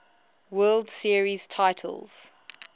world series titles